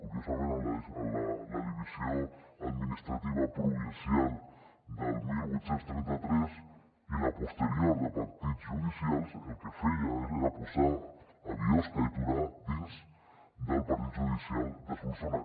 curiosament la divisió administrativa provincial del divuit trenta tres i la posterior de partits judicials el que feien era posar biosca i torà dins del partit judicial de solsona